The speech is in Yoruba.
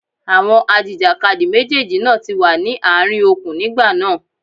Àwọn ajìjàkadì méjèèjì náà ti wà ní àárín okùn nígbà náà.